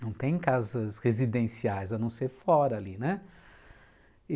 Não tem casas residenciais, a não ser fora ali, né?